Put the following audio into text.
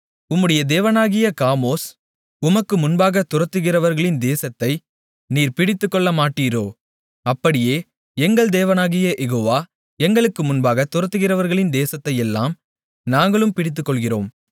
உம்முடைய தேவனாகிய காமோஸ் உமக்கு முன்பாகத் துரத்துகிறவர்களின் தேசத்தை நீர் பிடித்துக்கொள்ளமாட்டீரோ அப்படியே எங்கள் தேவனாகிய யெகோவா எங்களுக்கு முன்பாகத் துரத்துகிறவர்களின் தேசத்தையெல்லாம் நாங்களும் பிடித்துக்கொள்கிறோம்